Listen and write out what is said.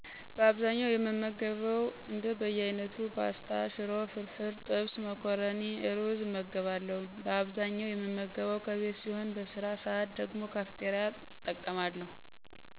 በአብዛኛው የምገበው እንደ በያይነቱ፣ ፖስታ፣ ሽሮ፣ ፍርፍር፣ ጥብስ፣ መኮረኒና እሩዝ እመገባለሁ። በአብዛኛው የምመገበው ከቤት ሲሆን በስራ ሰዓት ደግሞ ካፍቴሪያ እጠቀማለሁ።